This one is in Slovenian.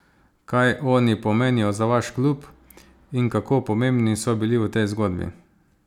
Kaj oni pomenijo za vaš klub in kako pomembni so bili v tej zgodbi?